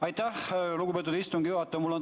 Aitäh, lugupeetud istungi juhataja!